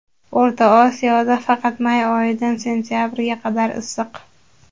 O‘rta Osiyoda faqat may oyidan sentabrga qadar issiq.